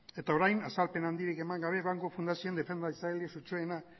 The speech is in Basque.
eta orain azalpen handirik eman gabe banku fundazioan defendatzaile sutsuena